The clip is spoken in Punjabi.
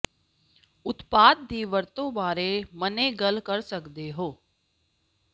ਉਤਪਾਦ ਦੀ ਵਰਤੋ ਬਾਰੇ ਮੰਨੇ ਗੱਲ ਕਰ ਸਕਦੇ ਹੋ